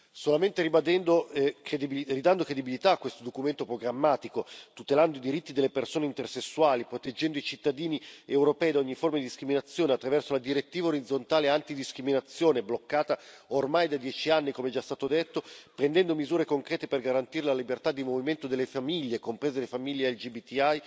Solamente ridando credibilità a questo documento programmatico, tutelando i diritti delle persone intersessuali, proteggendo i cittadini europei da ogni forma di discriminazione attraverso la direttiva orizzontale antidiscriminazione, bloccata ormai da dieci anni, come è già stato detto, e prendendo misure concrete per garantire la libertà di movimento delle famiglie, comprese le famiglie LGBTI,